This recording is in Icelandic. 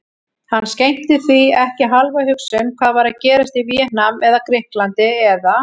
Hann skenkti því ekki hálfa hugsun hvað var að gerast í Víetnam eða Grikklandi eða